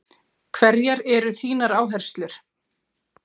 Hverjar eru þínar áherslur?